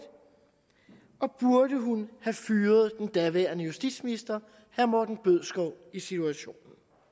burde hun have fyret den daværende justitsminister herre morten bødskov i situationen